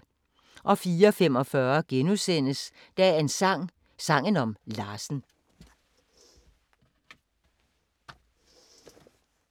04:45: Dagens sang: Sangen om Larsen *